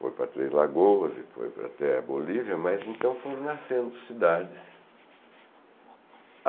foi para Três Lagoas e foi para até Bolívia, mas então foram nascendo cidades.